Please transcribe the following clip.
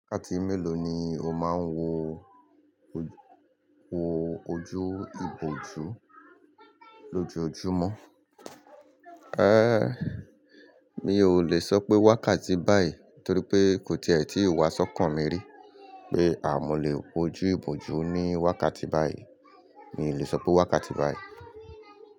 Wákàtí mélòó ni o máa ń wo ojú ìbòjú lójojúmọ́? Mi ò lè sọ pé wákàtí báyìí torí pé kò tíe tíì wá sọ́kàn mi rí pé mọ̀ lè wojú ìbòjú ní wákàtí báyìí. Mi ò lè sọ pé wákàtí báyìí.